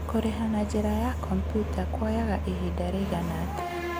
Kũrĩha na njĩra ya kompiuta kuoyaga ihinda rĩigana atĩa?